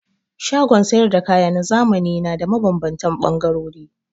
Shagon sayar da kaya na zamani da na mabambantan ɓangarori.